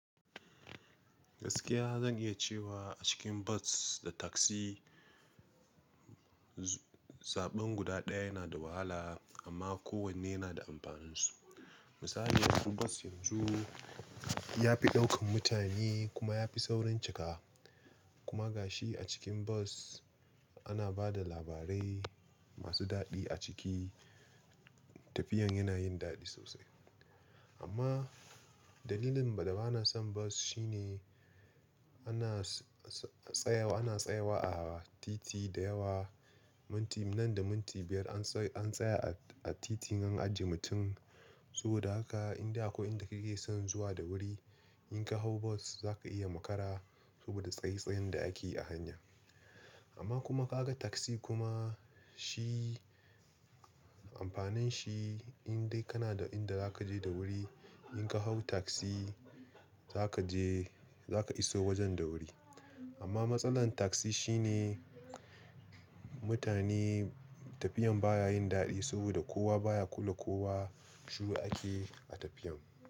Gaskiya zan iya cewa a cikin bas da taksi, zaɓin guda ɗaya yana da wahala amma kowanne yana da amfanin su. Misali, yanzu bas yanzu ya fi ɗaukan mutane kuma ya fi saurin cika. Kuma ga shi a cikin bas ana ba da labarai masu daɗi a ciki tafiyan yana yin daɗi sosai. Amma dalilin da ba na son bas shine ana tsayawa, ana tsayawa a titi da yawa. Minti nan da minti biyar an tsaya a titi nan ajiye mutum. Saboda haka in dai akwai inda kake so zuwa da guri inka hawo bus zaka iya makara sobada tsaye tsayen da ake yi a hanya. Ama kuma ka ga taxi kuma shi, amfaninshi indai kana da inde zake je da wuri, inka hawo taxi zaka je, zaka iso wajen da wuri. Ama masalan taxi shine mutani, tafiyan baya yin daddi saboda kowa baya kulla kowa, shuru ake a tafiya.